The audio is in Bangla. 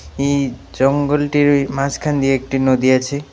এই জঙ্গলটিরই মাঝখান দিয়ে একটি নদী আছে.